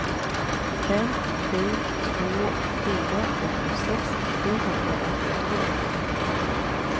fem sju två fyra åttiosex sjuhundraåttiotvå